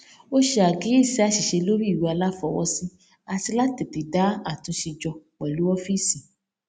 ó ṣe àkíyèsi àṣìṣe lórí ìwé aláfọwọsí àti láti tètè dá àtúnṣe jọ pẹlú ọfíìsì